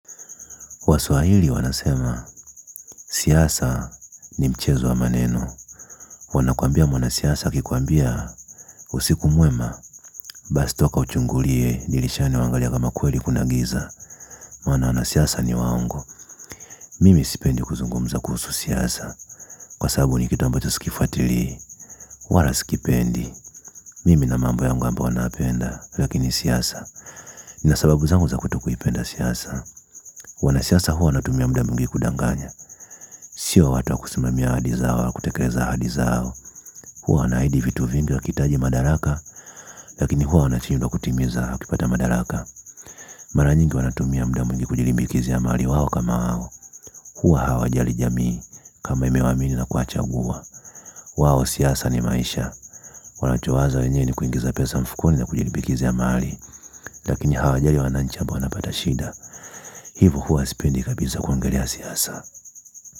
Waswahili, wanasema siasa ni mchezo wa maneno. Wanakuambia mwanasiasa akikuambia usiku mwema basi toka uchungulie dirishani uangalie kama kweli kuna giza maana wanasiasa ni waongo mimi sipendi kuzungumza kuhusu siasa. Kwa sababu ni kitu ambacho sikifuatilii, wala sikipendi. Mimi nina mambo yangu ambayo ninayapenda, lakini siasa nina sababu zangu za kutokuipenda siasa. Wanasiasa huwa wanatumia muda mwingi kudanganya sio watu wa kusimamia ahadi zao, wakutekeleza ahadi zao huwa wanaahidi vitu vingi wakihitaji madaraka lakini huwa wanashindwa kutimiza hakipata madaraka mara nyingi wanatumia muda mwingi kujilimbikizia mali wao kama hao. Huwa hawajali jamii kama imewaamini na kuwachagua kwao siasa ni maisha. Wanachowaza wenyewe ni kuingiza pesa mfukoni na kujilimbikizia mali lakini hawajali wananchi ambao wanapata shida hivyo huwa sipendi kabisa kuangalia siasa.